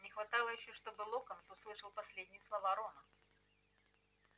не хватало ещё чтобы локонс услышал последние слова рона